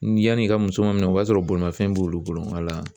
Ni yanni i ka muso ma minɛ o b'a sɔrɔ bolimanfɛn b'olu bolo